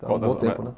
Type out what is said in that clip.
Está um bom tempo, né?